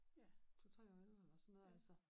Ja 2 3 år ældre eller sådan noget altså